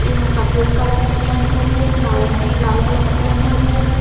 ये में सफ़ेद कलर की गेंद धरी है नरगी लाल कलर की गेंद धरी है।